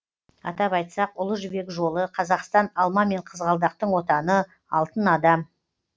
атап айтсақ ұлы жібек жолы қазақстан алма мен қызғалдақтың отаны алтын адам